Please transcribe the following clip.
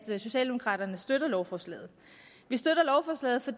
socialdemokraterne støtter lovforslaget vi støtter lovforslaget for